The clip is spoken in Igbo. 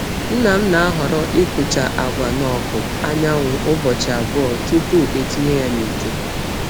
Nna m na-ahọrọ ịkụcha agwa n’ọkụ anyanwụ ụbọchị abụọ tupu etinye ya n’ite.